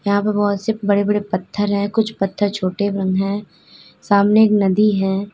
यहां पर बहुत से बड़े बड़े पत्थर हैं कुछ पत्थर छोटे भी हैं सामने एक नदी है।